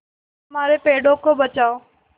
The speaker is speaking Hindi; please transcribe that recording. हमारे पेड़ों को बचाओ